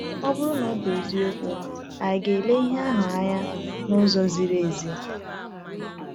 Ọ bụrụ na ọ bụ eziokwu, anyị na-ele ihe ahụ anya n’ụzọ ziri ezi?